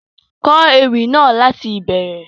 Kọ Ewì náà lati ìbẹrẹ!